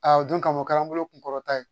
o don kama o kɛra an bolo kun kɔrɔta ye